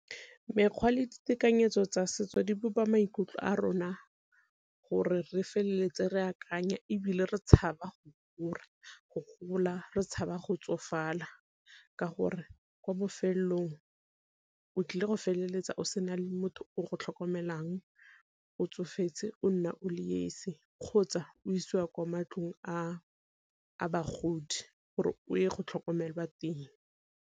Mekgwa le ditekanyetso tsa setso di bopa maikutlo a rona gore re feleletse re akanya, ebile re tshaba go gola re tshaba go tsofala, ka gore kwa bofelong o tlile go feleletsa o sena le motho o go tlhokomelang o tsofetse o nna o le esi, kgotsa o isiwa kwa matlong a bagodi gore o ye go tlhokomelwa teng.